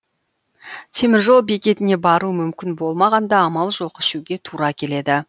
теміржол бекетіне бару мүмкін болмағанда амал жоқ ішуге тура келеді